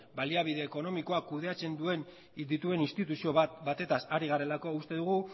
baliabide ekonomikoak kudeatzen dituen instituzio batetaz ari garelako uste dugu